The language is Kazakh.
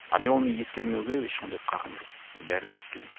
а мен оны ескермеуге ешқандай қақым жоқ бәрібір ескеремін